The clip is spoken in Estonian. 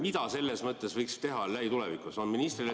Mida selles mõttes võiks teha lähitulevikus ...?